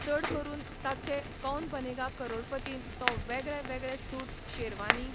चड करून ताचे कौन बनेगा करोडपतीन तो वेगळे वेगळे सूट, शेरवानीं